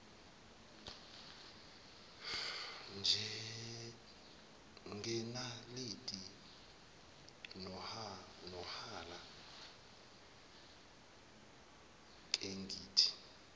ngenaliti nohala kengithi